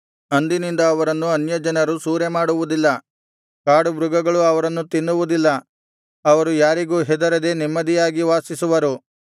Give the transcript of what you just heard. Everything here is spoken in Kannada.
ಅಂದಿನಿಂದ ಅವರನ್ನು ಅನ್ಯಜನರು ಸೂರೆಮಾಡುವುದಿಲ್ಲ ಕಾಡು ಮೃಗಗಳು ಅವರನ್ನು ತಿನ್ನುವುದಿಲ್ಲ ಅವರು ಯಾರಿಗೂ ಹೆದರದೆ ನೆಮ್ಮದಿಯಾಗಿ ವಾಸಿಸುವರು